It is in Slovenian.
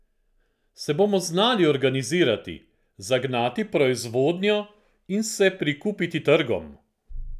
Se bomo znali organizirati, zagnati proizvodnjo in se prikupiti trgom?